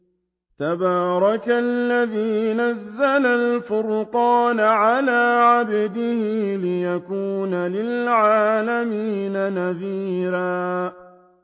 تَبَارَكَ الَّذِي نَزَّلَ الْفُرْقَانَ عَلَىٰ عَبْدِهِ لِيَكُونَ لِلْعَالَمِينَ نَذِيرًا